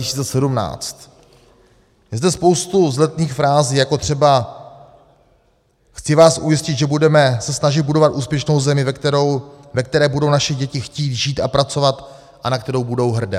Je zde spoustu vzletných frází, jako třeba: "Chci vás ujistit, že budeme se snažit budovat úspěšnou zemi, ve které budou naše děti chtít žít a pracovat a na kterou budou hrdé."